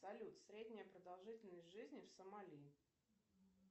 салют средняя продолжительность жизни в сомали